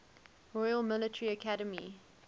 royal military academy